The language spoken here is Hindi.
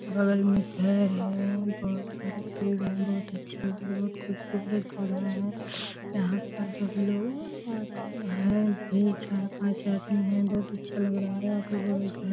बगल में घर है। बहुत सारे पेड़ हैं। बहुत अच्छा लग रहा है। बहुत खूबसूरत जगह है। यहाँ पर सब लोग अ नहाए भी चार पांच आदमी हैं। बहोत अच्छा लग रहा है।